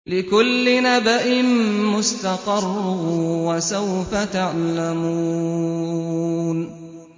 لِّكُلِّ نَبَإٍ مُّسْتَقَرٌّ ۚ وَسَوْفَ تَعْلَمُونَ